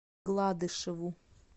гладышеву